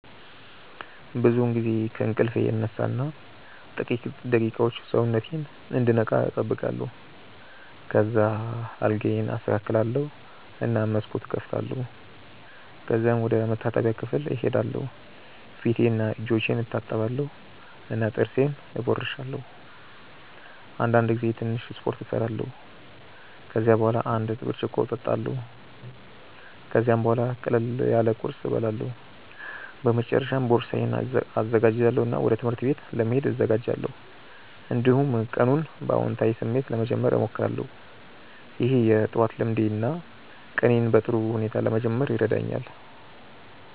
ብዙውን ጊዜ ከእንቅልፌ እነሳ እና ጥቂት ደቂቃዎች ሰውነቴን እንዲነቃ እጠብቃለሁ። ከዚያ አልጋዬን አስተካክላለሁ እና መስኮቱን እከፍታለሁ። ከዚያም ወደ መታጠቢያ ክፍል እሄዳለሁ ፊቴንና እጆቼን እታጠባለሁ እና ጥርሴን እቦርሳለሁ። አንዳንድ ጊዜ ትንሽ ስፖርት እሰራለሁ። ከዚያ በኋላ አንድ ብርጭቆ እጠጣለሁ። ከዚያም ቡሃላ ቅለል ያለ ቁርስ እበላለሁ። በመጨረሻ ቦርሳዬን እዘጋጃለሁ እና ወደ ትምህርት ቤት ለመሄድ እዘጋጃለሁ። እንዲሁም ቀኑን በአዎንታዊ ስሜት ለመጀመር እሞክራለሁ። ይህ የጠዋት ልምዴ ነው እና ቀኔን በጥሩ ሁኔታ ለመጀመር ይረዳኛል።